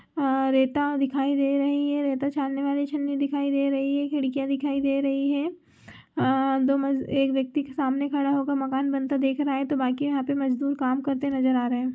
अ रेता दिखाई दे रही है रेता छानने वाली छननी दिखाई दे रही है खिड़कियाँ दिखाई दे रही है अ दो मज-- एक व्यक्ति सामने खड़ा होकर मकान बनता देख रहे है तो बाकि यहाँ पे मज़दूर काम करते नजर आ रहे है।